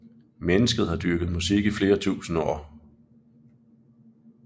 Mennesket har dyrket musik i flere tusinde år